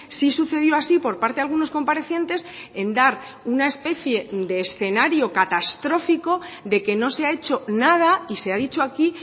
sí sucedió así por parte de algunos comparecientes en dar una especie de escenario catastrófico de que no se ha hecho nada y se ha dicho aquí